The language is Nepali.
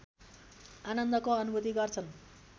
आनन्दको अनुभूति गर्छन्